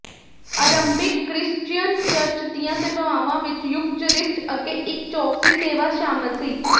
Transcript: ਅਰੰਭਿਕ Christian church ਦੀਆਂ ਸੇਵਾਵਾਂ ਵਿੱਚ ਯੂਕਚਰਿਸਟ ਅੱਗੇ ਇੱਕ ਚੌਕਸੀ ਸੇਵਾ ਸ਼ਾਮਲ ਸੀ